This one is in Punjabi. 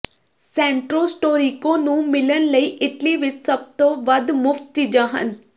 ਸੈਂਟਰੋ ਸਟੋਰੀਕੋ ਨੂੰ ਮਿਲਣ ਲਈ ਇਟਲੀ ਵਿਚ ਸਭ ਤੋਂ ਵੱਧ ਮੁਫ਼ਤ ਚੀਜ਼ਾਂ ਹਨ